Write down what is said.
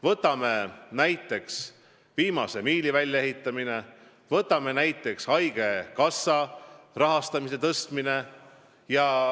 Võtame näiteks viimase miili väljaehitamise või haigekassa rahastamise suurendamise.